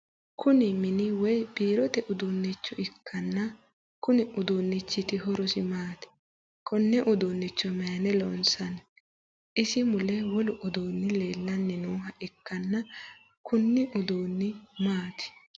Kunni minni woyi biirote uduunicho ikanna konni uduunichiti horosi maati? Konne uduune mayinni loonsanni? Isi mule wolu uduunni leelanni nooha ikanna kunni uduunni maati?